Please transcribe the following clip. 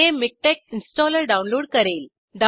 हे MiKTeX installer download करेल